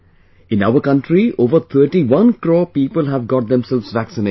In our country, over 31 crore people have got themselves vaccinated